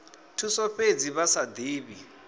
thuso fhedzi vha sa divhi